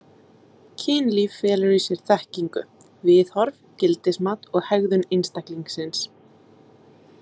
Kynlíf felur í sér þekkingu, viðhorf, gildismat og hegðun einstaklingsins.